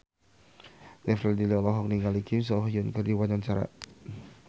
Glenn Fredly olohok ningali Kim So Hyun keur diwawancara